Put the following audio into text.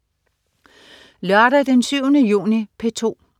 Lørdag den 7. juni - P2: